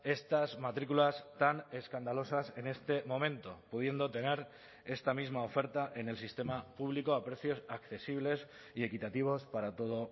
estas matrículas tan escandalosas en este momento pudiendo tener esta misma oferta en el sistema público a precios accesibles y equitativos para todo